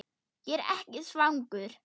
Ég er ekki svangur